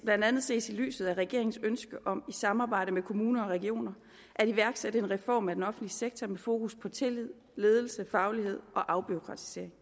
blandt andet ses i lyset af regeringens ønske om i samarbejde med kommuner og regioner at iværksætte en reform af den offentlige sektor med fokus på tillid ledelse faglighed og afbureaukratisering